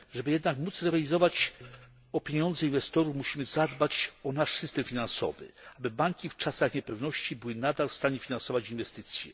Jednak aby móc rywalizować o pieniądze inwestorów musimy zadbać o nasz system finansowy, aby banki w czasach niepewności były nadal w stanie finansować inwestycje.